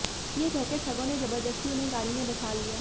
ये कहकर ठगों ने जबरदस्ती उन्हें गाड़ी में बैठा लिया